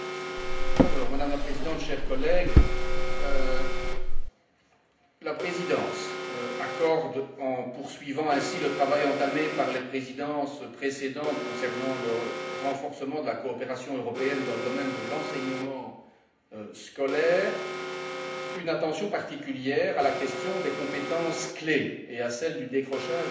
Madame la Présidente, chers collègues, la Présidence accorde, en poursuivant ainsi le travail entamé par les Présidences précédentes concernant le renforcement de la coopération européenne dans le domaine de l'enseignement scolaire, une attention particulière à la question des compétences clés et à celle du décrochage scolaire.